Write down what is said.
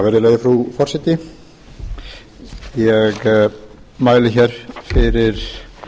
virðulegi frú forseti ég mæli hér fyrir